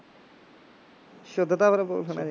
ਸੁੱਧ ਤਾਂ ਫਿਰ ਬੋਲਣਾ ਹੀ